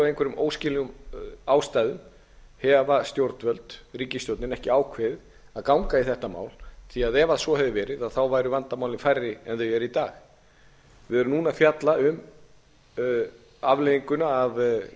einhverjum óskiljanlegum ástæðum hafa stjórnvöld ríkisstjórnin ekki ákveðið að ganga í þetta mál því að ef svo hefði verið væru vandamálin færri en þau eru í dag við erum núna að fjalla um afleiðingun af